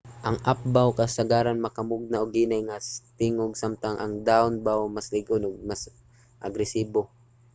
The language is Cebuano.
ang up-bow kasagaran makamugna og hinay nga tingog samtang ang down-bow mas lig-on ug mas agresibo